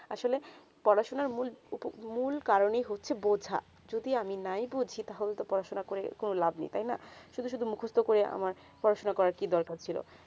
আসলে পড়াশোনা মূল কারণে ই হচ্ছে বোঝা যদি আমি নাই বোঝি টা হলে তো পড়াশোনা কোনো লাভ নেই তাই না সুদু মুখস্ত করে আমার পড়াশোনা করা কি দরকার ছিল